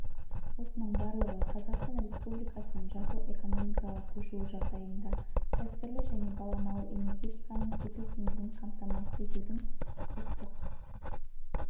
осының барлығы қазақстан республикасының жасыл экономикаға көшуі жағдайында дәстүрлі және балама энергетиканың тепе-теңдігін қамтамасыз етудің құқықтық